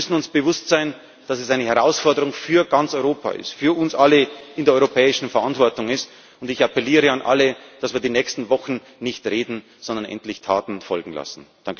Wir müssen uns bewusst sein, dass es eine Herausforderung für ganz Europa ist, für uns alle in der europäischen Verantwortung. Ich appelliere an alle, dass wir in den nächsten Wochen nicht reden, sondern endlich Taten folgen lassen!